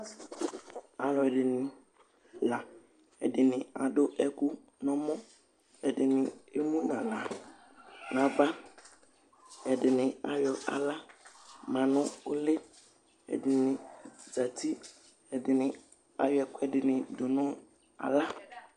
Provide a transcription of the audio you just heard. Alʋɛdìní la Ɛdiní adu ɛku nʋ ɛmɔ Ɛdiní ɛmu nʋ aɣla nʋ ava Ɛdiní ayɔ aɣla ma nʋ ʋli Ɛdiní zɛti Ɛdiní ayɔ ɛkʋɛdi dʋ nʋ aɣla